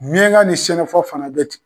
Miɲanka ni senafɔ fana be ten.